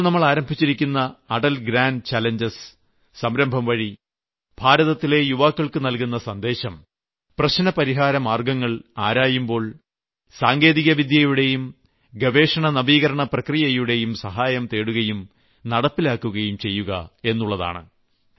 ഇപ്പോൾ നമ്മൾ ആരംഭിച്ചിരിക്കുന്ന അടൽ ഗ്രാന്റ് ചാലഞ്ചസ് സംരംഭം വഴി ഭാരതത്തിലെ യുവാക്കൾക്കു നൽകുന്ന സന്ദേശം പ്രശ്നപരിഹാരമാർഗ്ഗങ്ങൾ ആരായുമ്പോൾ സാങ്കേതികവിദ്യയുടെയും ഗവേഷണനവീകരണ പ്രക്രിയകളുടെയും സഹായം തേടുകയും നടപ്പിലാക്കുകയും ചെയ്യുക എന്നുള്ളതാണ്